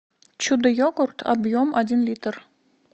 чудо йогурт объем один литр